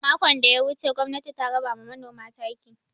Makon da ya wuce gwamnati ta raba ma manoma taki.